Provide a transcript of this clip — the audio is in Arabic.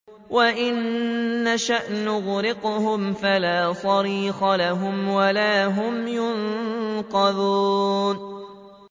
وَإِن نَّشَأْ نُغْرِقْهُمْ فَلَا صَرِيخَ لَهُمْ وَلَا هُمْ يُنقَذُونَ